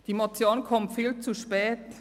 – Die Motion kommt viel zu spät.